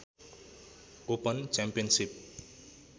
open championship